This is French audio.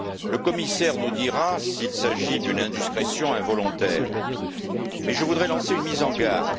Le commissaire nous dira s'il s'agit d'une indiscrétion involontaire. Mais je voudrais lancer une mise en garde.